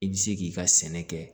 I bɛ se k'i ka sɛnɛ kɛ